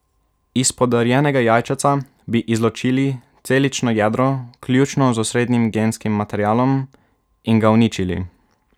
Iz podarjenega jajčeca bi izločili celično jedro, vključno z osrednjim genskim materialom, in ga uničili.